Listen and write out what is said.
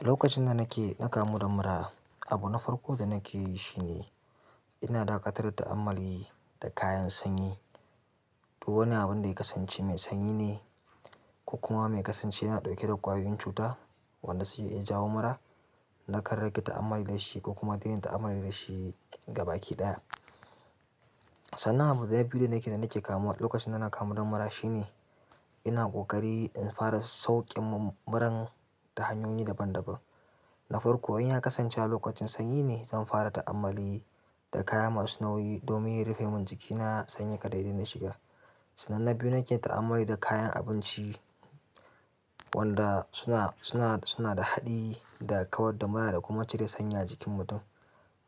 Lokacin da nake ɗaka muɗan mura, abu na farko da nake yi shi ne ina dakatar da ta'ammali da kayan sanyi. To wani abun da ya kasance me sanyi ne ko kuma me kasance yana ɗauke da ƙwayoyin cuta wanda sai iya jawo mura. Na karraki ta'ammali da shi ko kuma dai na yi ta'ammali da shi gaba ki ɗaya. Sannan abu na biyu da nake nake kamuwa lokacin da na kamu da mura shi ne ina ƙoƙari in fara sauƙem muran da hanyoyi daban daban. Na farko inya kasance a lokacin sanyi ne zanfara ta'ammali da kaya masu nauyi domin ya rufemin jikina ka sanyin ya shiga sannan na biyu nake ta'ammali da kayan abinci wanda suna, suna, suna da haɗi da kawar da mura da kuma cire sanyi a jikin mutum.